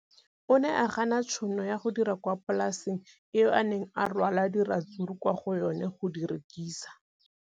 O ne a gana tšhono ya go dira kwa polaseng eo a neng rwala diratsuru kwa go yona go di rekisa.